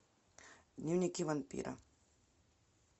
дневники вампира